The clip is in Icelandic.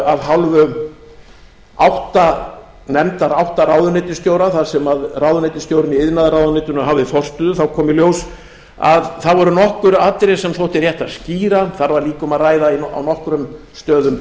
að hálfu nefndar átta ráðuneytisstjóra þar sem ráðuneytisstjórinn í iðnaðarráðuneytinu hafði forstöðu þá kom í ljós að það voru nokkur atriði sem þótti rétt að skýra þar var líka um að ræða á nokkrum stöðum